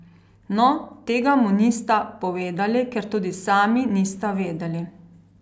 No, tega mu nista povedali, ker tudi sami nista vedeli.